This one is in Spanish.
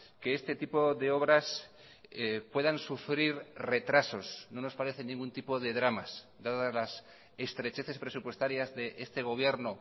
que este tipo de obras puedan sufrir retrasos no nos parecen ningún tipo de dramas dadas las estrecheces presupuestarias de este gobierno